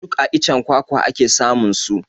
Duk a iccen kwakwa ake samun su